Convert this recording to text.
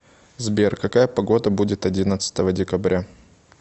сбер какая погода будет одиннадцатого декабря